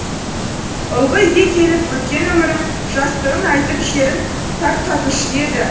ылғи үйге келіп өткен өмірін жастығын айтып шерін тарқатушы еді